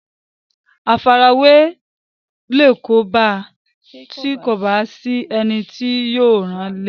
àfarawé yóò kóbá a tí kò bá sí ẹni tí yóò ràn án le